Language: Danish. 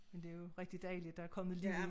Men det jo rigtig dejligt der er kommet liv i